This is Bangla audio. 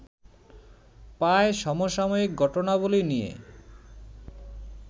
পায় সমসাময়িক ঘটনাবলী নিয়ে